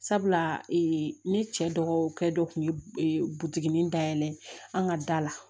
Sabula ne cɛ dɔgɔkɛ dɔ kun ye buduginin dayɛlɛ an ka da la